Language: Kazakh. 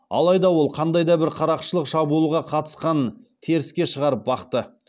алайда ол қандай да бір қарақшылық шабуылға қатысқанын теріске шығарып бақты